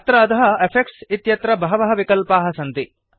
अत्र अधः इफेक्ट्स् इत्यत्र बहवः विकल्पाः सन्ति